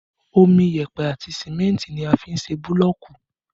Omi, yẹpẹ àti símẹ́ntì ni a fi n se búlọ̀ọ̀kù